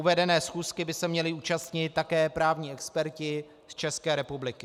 Uvedené schůzky by se měli účastnit také právní experti z České republiky.